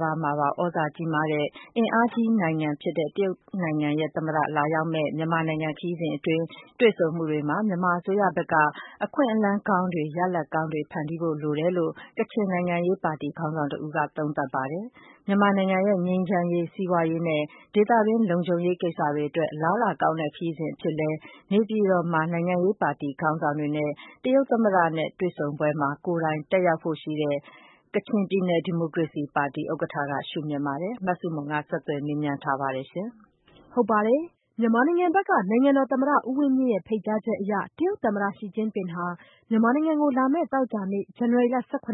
ဘာမှာပါ သြဇာကြီးမားတဲ့ အင်အားကြီးနိုင်ငံဖြစ်တဲ့ တရုတ်နိုင်ငံရဲ့သမ္မတကိုယ်တိုင်လာရောက်မယ့် မြန်မာနိုင်ငံခရီးစဉ် အတွင်း တွေ့ဆုံမှုတွေမှာ မြန်မာအစိုးရဘက်က အခွင့်အလမ်းကောင်းတွေ ရလဒ်ကောင်းတွေ ဖန်တီးဖို့လိုတယ်လို့ ကချင်နိုင်ငံရေးပါတီ ခေါင်းဆောင်တဦးက သုံးသပ်ပါတယ်။ မြန်မာနိုင်ငံရဲ့ ငြိမ်းချမ်းရေး စီးပွားရေးနဲ့ဒေသတွင်းလုံခြုံရေးကိစ္စတွေအတွက် အလားအလာကောင်းတဲ့ ခရီးစဉ်အဖြစ်လည်း နေပြည်တော်မှာ နိုင်ငံရေးပါတီခေါင်းဆောင်တွေနဲ့ တရုတ်သမ္မတနဲ့တွေ့ဆုံပွဲမှာ ကိုယ်တိုင် တက်ရောက်ဖို့ရှိတဲ့ ကချင်ပြည်နယ်ဒီမိုကရေစီပါတီဥက္ကဋ္ဌက ရှု့မြင်ပါတယ်။ မဆုမွန်က ဆက်သွယ်မေးမြန်းထားပါတယ်။ မြန်မာနိုင်ငံဘက်က နိုင်ငံတော်သမ္မတ ဦးဝင်းမြင့်ရဲ့ ဖိတ်ကြားချက်အရ တရုတ်သမ္မတ Xi Jinping ဟာ မြန်မာနိုင်ငံကို လာမယ့် သောကြာနေ့ ဇန်နဝါရီလ ၁၇ က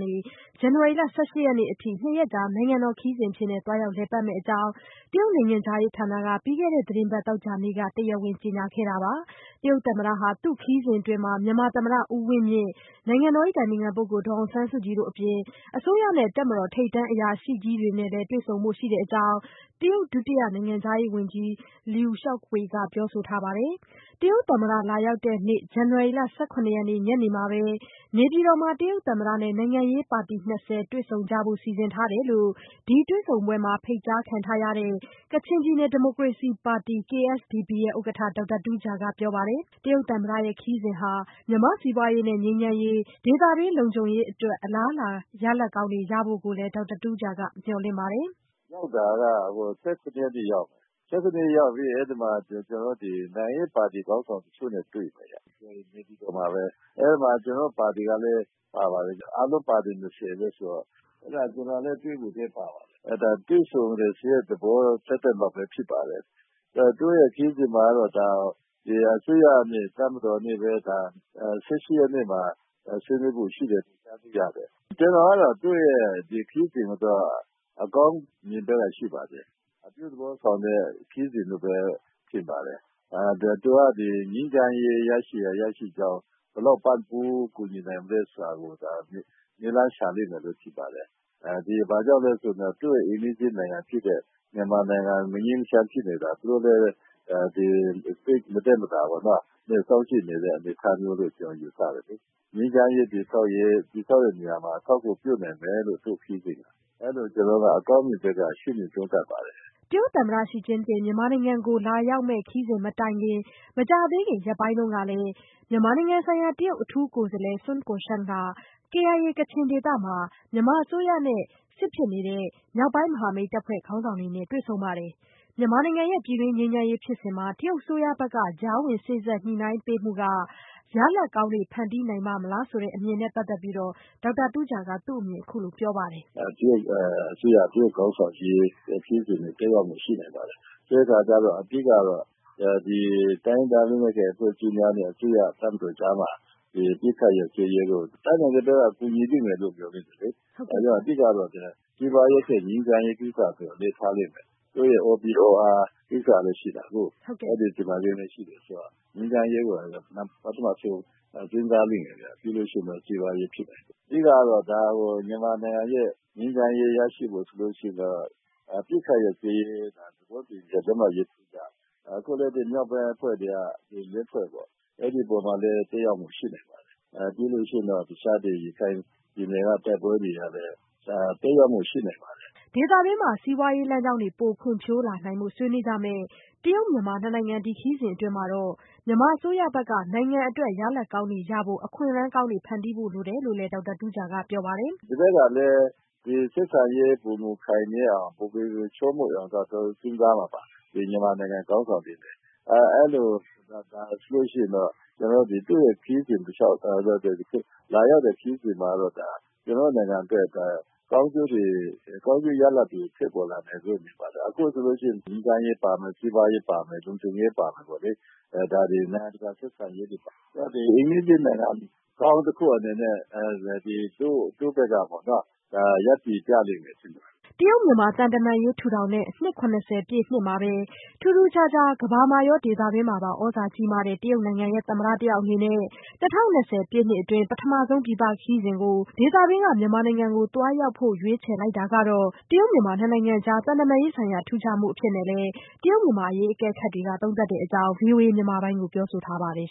နေ ဇန်နဝါရီ ၁၈ ရက်နေ့အထိ ၂ ရက်ကြာ နိုင်ငံတော်ခရီးစဉ်အဖြစ် သွားရောက်လည်ပတ်မယ့်အကြောင်း တရုတ်နိုင်ငံခြားရေးဌာနက ပြီးခဲ့တဲ့ သီတင်းပတ်သောကြာနေ့က တရားဝင် ကြေညာလိုက်တာပါ။ တရုတ်သမ္မတဟာ သူ့ခရီးစဉ်အတွင်း မြန်မာသမ္မတ ဦးဝင်းမြင့်၊ နိုင်ငံတော် အတိုင်ပင်ခံပုဂ္ဂိုလ် ဒေါ်အောင်ဆန်းစုကြည်တို့အပြင် အစိုးရနဲ့ တပ်မတော် ထိပ်တန်းအရာရှိတွေကိုလည်း တွေ့ဆုံမှာ ဖြစ်ကြောင်း တရုတ် ဒုတိယ နိုင်ငံခြားရေးဝန်ကြီး Luo Zhaohui က ပြောဆိုထားပါတယ်။ တရုတ်သမ္မတ လာရောက်တဲ့နေ့ ဇန်နဝါရီလ ၁၇ရက်နေ့ ညနေမှာပဲ နေပြည်တော်မှာ တရုတ်သမ္မတ နဲ့ နိုင်ငံရေးပါတီ တွေ့ဆုံကြဖို့ စီစဉ်ထားတယ်လို့ ဒီတွေ့ဆုံပွဲမှာ ဖိတ်ကြားခံထားရတဲ့ ကချင်ပြည်နယ်ဒီမိုကရေစီပါတီ KSPD ( Kachin State Democracy Party) ဥက္ကဋ္ဌ ဒေါက်တာတူးဂျာက ပြောပါတယ်။ တရုတ်သမ္မတရဲ့ခရီးစဉ်ဟာ မြန်မာ့စီးပွားရေးနဲ့ငြိမ်းချမ်းရေး ဒေသတွင်းလုံခြုံရေးအတွက် အလားအလာရလဒ်ကောင်းတွေရဖို့ကိုလည်း ဒေါက်တာတူးဂျာက မျှော်လင့်ပါတယ်။ “သူက ၁၇ ရက်နေ့ရောက်မယ် ။ ရောက်ပြီးရင် နိုင်ငံရေးပါတီ ခေါင်းဆောင်တချို့နဲ့ တွေ့မယ်။ နေပြည်တော်မှာပါပဲ အဲဒီမှာ ကျနော်တို့ ပါတီလည်း ပါတယ်။ အားလုံးပါတီ ၂၀ ဆိုတော့ အဲဒီမှာ ကျနော်လည်း တွေ့ဖို့ ပါပါတယ်။ ဒါကတွေ့ဆုံတယ်ဆိုတဲ့ သဘောသပ်သပ်လောက်ပဲ ဖြစ်ပါတယ်။ သူ့ခရီးစဉ်မှာတော့ အစိုးရကနေ တပ်မတော်ကနေပဲ ၁၈ ရက်နေ့မှာ ဆွေးနွေးဖို့ ရှိတယ်လို့ ကြားသိရတယ်။ ကျနော်ကတော့ ဒီခရီးစဉ်ကို အကောင်းမြင်ပေးတာရှိပါတယ်။ အပြုသဘောဆောင်တဲ့ ခရီးစဉ်လို့ထင်ပါတယ်။ သူက ငြိမ်းချမ်းရေးရရှိနိုင်ဖို့ ဘယ်လောက်ပံ့ပိုးကူညီနိုင်မလဲဆိုတာကို နည်းလမ်းရှာမယ်လို့ ထင်ပါတယ်။ ဘာကြောင့်လဲဆိုတော့ သူ့အိမ်နီးချင်းနိုင်ငံဖြစ်တဲ့ မြန်မာနိုင်ငံ မငြိမ်းမချမ်းဖြစ်နေတာ သူတို့လည်း မသက်မသာ စောင့်ကြည့်နေတဲ့အနေအထားမျိုးလို့ ကျနော်ယူဆတယ်လေ။ ငြိမ်းချမ်းရေးတည်ဆောက်တဲ့နေရာမှာ သူ့ခရီးစဉ်က အထောက်အကူပြုနိုင်မယ်လို့ ကျနော်ကတော့ အကောင်းမြင်ဘက်က ရှုမြင်သုံးသပ်ပါတယ်။” တရုတ်သမ္မတ ရှီကျင့်ဖျင် မြန်မာနိုင်ငံကိုလာမယ့်ခရီးစဉ်မတိုင်မီ မကြာသေးခင်ရက်ပိုင်းတုန်းကလည်း မြန်မာဆိုင်ရာ တရုတ်အထူးကိုယ်စားလှယ် Sun Guoxiang ဟာ KIA ကချင်ဒေသမှာ မြန်မာအစိုးရနဲ့စစ်မက်ရင်ဆိုင်နေတဲ့ မြောက်ပိုင်းမဟာမိတ်တပ်ဖွဲ့ခေါင်းဆောင်တွေနဲ့ တွေ့ဆုံပါတယ်။ မြန်မာနိုင်ငံရဲ့ ပြည်တွင်းငြိမ်းချမ်းရေးဖြစ်စဉ်မှာ တရုတ်အစိုးရဘက်က ကြားဝင်စေ့စပ်ညှိနှိုင်းပေးမှုက ရလဒ်ကောင်းတွေ ဖန်တီးနိုင်ပါ့မလားဆိုတဲ့အမြင်ကိုလည်း ဒေါက်တာတူးဂျာက အခုလိုပြောပါတယ်။ “ တရုတ်ခေါင်းဆောင်ကြီးခရီးစဉ်မှာ အကျိုးသက်ရောက်မှု ရှိနိုင်ပါတယ်။ အဓိကတော့ တိုင်းရင်းသားလက်နက်ကိုင် အဖွဲ့များနဲ့ အစိုးရတပ်မတော်ကြားမှာ အပစ်အခတ်ရပ်စဲရေးကို တတ်နိုင်သမျှ ကူညီလိမ့်မယ်လို့ မျှော်လင့်တယ်လေ။ နောက်ပြီးတော့ စီးပွားရေးထက် ငြိမ်းချမ်းရေးကိစ္စကို အလေးထားလိမ့်မယ်။ OBOR ကိစ္စလည်း ရှိတာကို ဒါကြောင့် ငြိမ်းချမ်းရေးကို ပထမဦးဆုံး ကြိုးစားလိမ့်မယ်ဗျ ပြီးရင် စီးပွားရေးဖြစ်နိုင်တယ်။ အဓိကတော့ ဒါကို မြန်မာနိုင်ငံရဲ့ ငြိမ်းချမ်းရေး ရရှိဖို့ဆိုရင် အပစ်အခတ်ရပ်စဲရေးသဘောတူလက်မှတ်ရေးထိုးရမယ်။ အခုလည်း မြောက်ပိုင်း ၄ ဖွဲ့အပေါ်မှာလည်း သက်ရောက်မှုရှိနိုင်တယ် ပြီးရင် ရခိုင်ပြည်နယ်တိုက်ပွဲတွေမှာလည်း သက်ရောက်မှုရှိနိုင်တယ်။” ဒေသတွင်း စီးပွားရေးလမ်းကြောင်းတွေ ပိုဖွံ့ဖြိုးလာနိုင်ဖို့ ဆွေးနွေးကြမယ့် တရုတ်-မြန်မာနိုင်ငံဒီခရီးစဉ်အတွင်း မြန်မာအစိုးရဘက်က နိုင်ငံအတွက် ရလဒ်ကောင်းတွေရဖို့ အခွင့်အကောင်းတွေကို ဖန်တီးဖို့လိုတယ်လို့လည်း ဒေါက်တာတူးဂျာကပြောပါတယ်။ “ဒီဘက်ကလည်း ဆက်ဆံရေးပိုမိုခိုင်မြဲအောင်၊ ပိုမိုချောမွေ့အောင် သူတို့ စဉ်းစားမှာပါ မြန်မာခေါင်းဆောင်တွေအနေနဲ့။ အဲလိုဆိုရင် သူ့ရဲ့ လာရောက်တဲ့ ခရီးစဉ်မှာတော့ ကျနော်တို့နိုင်ငံအတွက် ကောင်းကျိုးရလဒ်တွေဖြစ်ပေါ်လာနိုင်မယ်လို့ မြင်ပါတယ်။ အခုဆိုရင် ငြိမ်းချမ်းရေးပါမယ်၊ စီးပွားရေးပါမယ်၊ လုံခြုံရေးပါမယ်။ ဒါတွေ နိုင်ငံတကာ ဆက်ဆံရေးတွေ ဒါ့အပြင် အိမ်နီးချင်းနိုင်ငံကောင်းတခုအနေနဲ့ တရုတ်ဘက်က ရပ်တည်ပြမယ်လို့ ထင်ပါတယ်။” တရုတ်-မြန်မာ သံတမန်ရေးထူးထောင်တဲ့ နှစ် ၇၀ပြည့်နှစ်မှာပဲ ထူးထူးခြားခြား ကမ္ဘာမှာရော ဒေသတွင်းမှာပါ သြဇာကြီးမားတဲ့ တရုတ်နိုင်ငံရဲ့ သမ္မတအနေနဲ့ ၂၀၂၀ပြည့်နှစ်အတွက် ပထမဆုံး ပြည်ပခရီးစဉ်ကို ဒေသတွင်းက မြန်မာနိုင်ငံကို သွားရောက်ဖို့ ရွေးချယ်လိုက်တာဟာ တရုတ်-မြန်မာနှစ်နိုင်ငံကြား သံတမန်ရေးဆိုင်ရာ ထူးခြားမှုအဖြစ် တရုတ်-မြန်မာအရေး အကဲခတ်တွေကလည်း သုံးသပ်တဲ့အကြောင်း ဗွီအိုအေမြန်မာပိုင်းကိုပြောဆိုထားပါတယ်